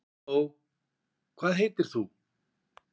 halló hvað heitir þú